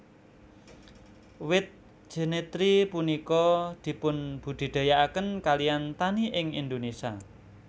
Wit Jenitri punika dipunbudidayakaken kaliyan tani ing Indonesia